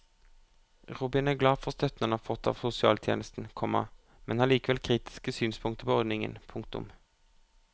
Robin er glad for støtten han har fått av sosialtjenesten, komma men har likevel kritiske synspunkter på ordningen. punktum